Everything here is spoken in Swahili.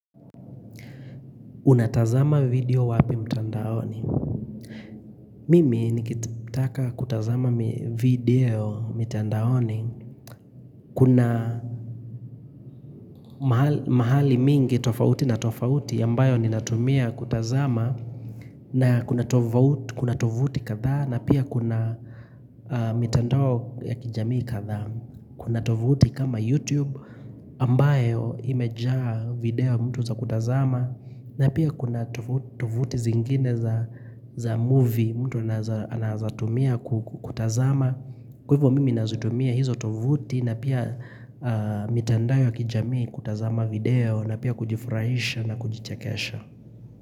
Unatazama video wapi mtandaoni. Mimi nikitaka kutazama video mtandaoni. Kuna mahali mingi tofauti na tofauti ambayo ni natumia kutazama na kuna tovuuti kadhaa na pia kuna mitandao ya kijamii kadhaa. Kuna tovuti kama YouTube ambayo imejaa video mtu za kutazama na pia kuna tovuti zingine za movie mtu anawezatumia kutazama Kwa hivyo mimi nazitumia hizo tovuti na pia mitandao ya kijamii kutazama video na pia kujifurahisha na kujichekesha.